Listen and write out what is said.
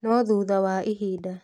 No thutha wa ihinda